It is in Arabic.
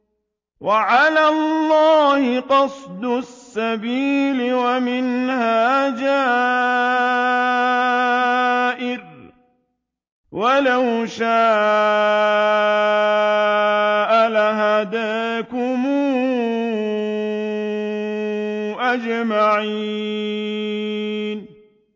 وَعَلَى اللَّهِ قَصْدُ السَّبِيلِ وَمِنْهَا جَائِرٌ ۚ وَلَوْ شَاءَ لَهَدَاكُمْ أَجْمَعِينَ